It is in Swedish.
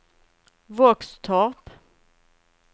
Våxtorp